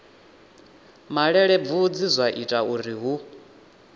malelebvudzi zwa ita uri hu